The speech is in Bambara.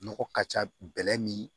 Nɔgɔ ka ca bɛlɛ ni